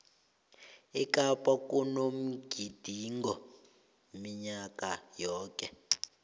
ekapa kunomgidingo minyaka yoke